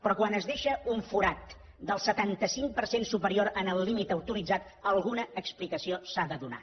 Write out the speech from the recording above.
però quan es deixa un forat del setanta cinc per cent superior al límit autoritzat alguna explicació s’ha de donar